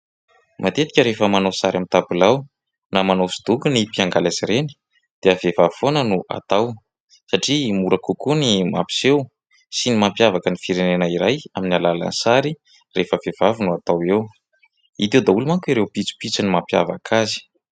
Matetika rehefa manao sary amin'ny tabilao na manao hosodoko ny mpiangaly azy ireny dia vehivavy foana no atao satria mora kokoa ny mampiseho sy ny mampiavaka ny firenena iray amin'ny alalany sary rehefa vehivavy no atao eo ; hita eo daholo manko ireo pitsopitsony mampiavaka azy.